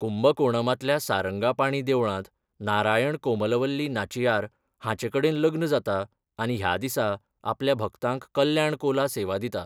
कुंबकोणमांतल्या सारंगापाणी देवळांत नारायण कोमलवल्ली नाचियार हांचेकडेन लग्न जाता आनी ह्या दिसा आपल्या भक्तांक कल्याण कोला सेवा दिता.